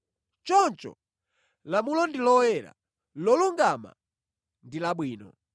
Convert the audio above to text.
Choncho lamulo ndi loyera, lolungama ndi labwino.